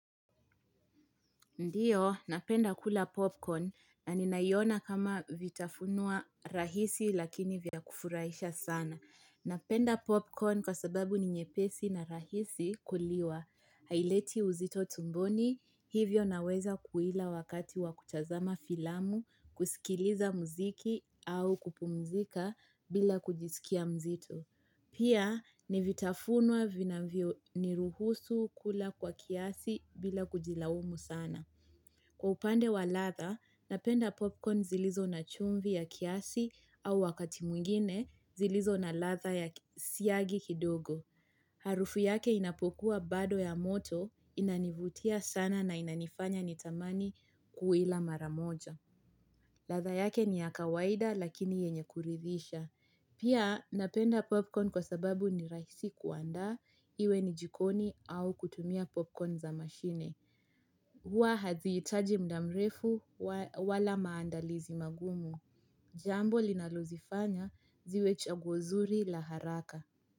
Ndio, napenda kula popcorn na ninaiona kama vitafunua rahisi lakini vya kufurahisha sana. Napenda popcorn kwa sababu ni nyepesi na rahisi kuliwa. Haileti uzito tumboni, hivyo naweza kuila wakati wakutazama filamu, kusikiliza muziki au kupumzika bila kujisikia mzitu. Pia, ni vitafunua vinavyo ni ruhusu kula kwa kiasi bila kujilaumu sana. Kwa upande wa latha, napenda popcorn zilizo na chumvi ya kiasi au wakati mwingine zilizo na latha ya siyagi kidogo. Harufu yake inapokuwa bado ya moto inanivutia sana na inanifanya nitamani kuila maramoja. Latha yake ni ya kawaida lakini yenye kuridhisha. Pia napenda popcorn kwa sababu ni rahisi kuandaa iwe ni jikoni au kutumia popcorn za mashine. Hua hazihitaji mda mrefu wala maandalizi magumu. Jambo linalozifanya ziwe chaguo zuri la haraka.